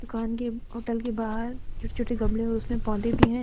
Hotel के बाहर छोटे छोटे गमले और उसमें पौधे भी हैं।